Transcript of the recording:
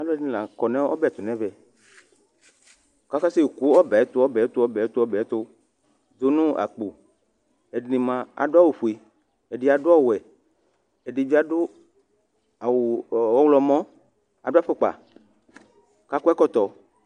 Alʋ ɛdini laakɔ nʋ ɔbɛtʋ nʋ ɛvɛ kʋ akase bo ɔbɛ tʋ ɔbɛ tʋ ɔbɛ tu dʋnʋ akpo ɛdini ma adʋ awʋfue ɛdi adʋ ɔwɛ ɛdibi adʋ awʋ ɔwlɔmɔ adʋ afukpa kʋ akɔ ɛkɔtɔ